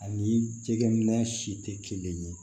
Ani jɛgɛ minɛ si tɛ kelen ye